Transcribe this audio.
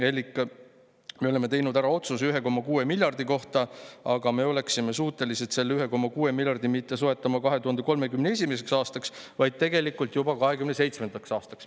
Elik me oleme teinud ära otsuse 1,6 miljardi kohta, aga me oleksime suutelised selle 1,6 miljardi mitte soetama 2031. aastaks, vaid tegelikult juba 2027. aastaks.